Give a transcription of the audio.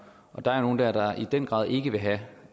der er nogle dér der i den grad ikke vil have